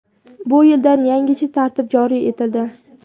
Bu yildan yangicha tartib joriy etildi.